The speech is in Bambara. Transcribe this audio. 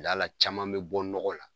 caman mi bɔ nɔgɔ la